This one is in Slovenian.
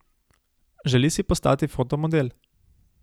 Želi si postati fotomodel.